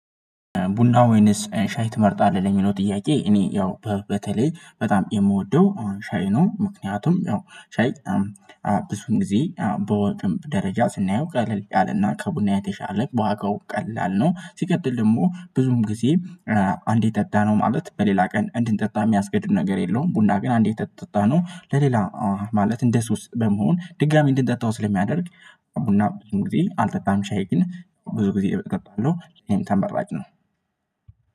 "ቡና ወይንስ ሻይ ትመርጣለህ?" ለሚለው ጥያቄ፤ እኔ ያው በ በተለይ በጣም የምወደው አሁን ሻይ ነው። ምክንያቱም ያው ሻይ ብዙን ጊዜ በወጪም ደረጃ ስናየው ቀለል ያለና ከቡና የተሻለ በዋጋው ቀላል ነው። ሲቀጥል ደግሞ ብዙም ጊዜ አንዴ ጠጣነው ማለት በሌላ ቀን እንድንጠጣ የሚያስገድዱ ነገር የለውም፤ ቡና ግን አንዴ ተጠጣነው ለሌላ ማለት እንደ ሱስ በመሆን ድጋሚ እንድንጠጣው ስለሚያደርግ፤ ቡና ብዙ ጊዜ አልጠጣም፤ ሻይ ግን ብዙ ጊዜ እጠጣለሁ ይሄን ተመራጭ ነው።